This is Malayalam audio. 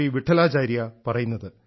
വിഠലാചാര്യ പറയുന്നത്